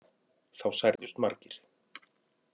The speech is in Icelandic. Þá særðust margir